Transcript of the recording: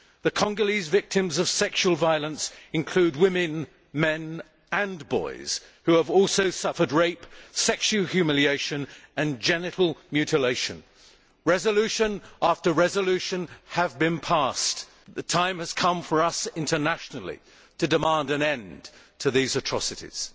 The Congolese victims of sexual violence include women, men and boys who have also suffered rape, sexual humiliation and genital mutilation. Resolution after resolution has been passed. The time has come for us internationally to demand an end to these atrocities.